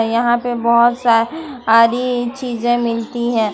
यहां पे बहुत सारी चीजें मिलती है।